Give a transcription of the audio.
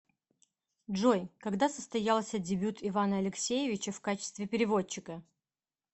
джой когда состоялся дебют ивана алексеевича в качестве переводчика